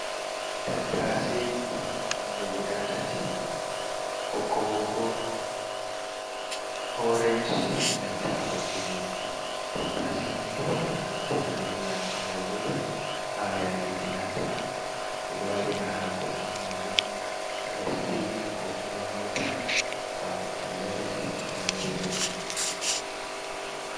Tattasei nonde guda tati. Ɓokko-ɓokko, orenj e nan ta boɗe jum. Tattaseni ɓe ɗo naftira be majum. Robe ha yake kilanta, ɓe ɗowaɗa hako be majum. waɗa stiyu ko kuma hauta hako follere be ko nandi be man.